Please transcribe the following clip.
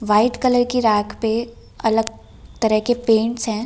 White colour की rack पे अलग तरह के पेंट्स हैं।